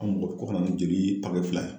Anw ko ko kana ni jeli fila ye